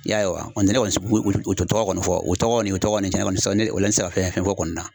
I y'a ye wa ne kɔni o o tɔ tɔgɔ kɔni fɔ o tɔgɔ ye nin ye o tɔgɔ ye nin ye tiɲɛna ne kɔni te se ka ne o la n te se ka fɛn fɛn fɔ o kɔni na .